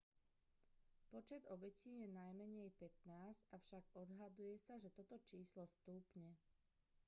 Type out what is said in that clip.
počet obetí je najmenej 15 avšak odhaduje sa že toto číslo stúpne